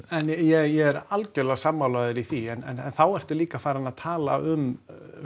ja ég er algjörlega sammála þér í því en þá ertu líka farinn að tala um